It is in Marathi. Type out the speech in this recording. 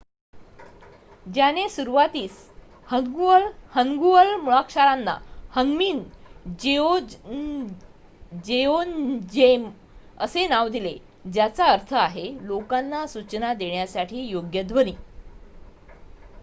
"त्याने सुरुवातील हन्गुअल मुळाक्षरांना ह्न्मीन जेओन्जेम असे नाव दिले ज्याचा अर्थ आहे "लोकांना सूचना देण्यासाठी योग्य ध्वनी ".